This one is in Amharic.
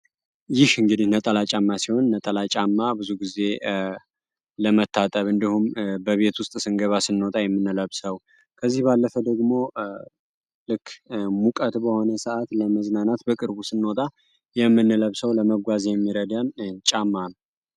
ይህ እንግዲህ ነጠላ ጫማ ሲሆን ነጠላ ጫማ ብዙውን ጊዜ ለመታጠብ እንዲሁም በቤት ውስጥ ስንገባ ስንወጣ የምንለብሰው ከዚህ ባለፈ ደግሞ ልክ ሙቀት በሆነ ሰአት ለመዝናናት በቅርቡ ስንወጣ የምንለብሰው ለመጓዝ የሚረዳን ጫማ ነው።